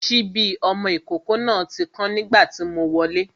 Sipi ọmọ ìkókó náà ti kán nígbà tí mo wọlé